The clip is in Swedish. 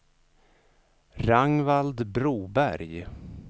Ragnvald Broberg